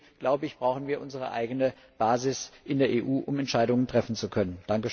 Und deswegen, glaube ich, brauchen wir unsere eigene Basis in der EU, um Entscheidungen treffen zu können.